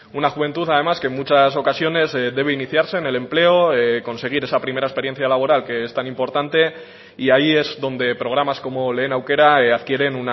una juventud además que en muchas ocasiones debe iniciarse en el empleo conseguir esa primera experiencia laboral que es tan importante y ahí es donde programas como lehen aukera adquieren